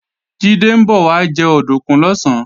Jídé ń bọ̀ wá jẹ òdùnkún lọ̀sán